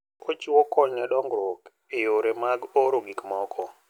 Ochiwo kony ne dongruok e yore mag oro gik moko.